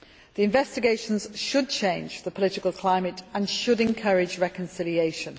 The investigations should change the political climate and should encourage reconciliation.